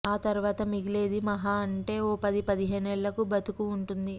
ఆ తరువాత మిగిలేది మహా అంటే ఓ పది పదిహేనేళ్లు బతుకు ఉంటుంది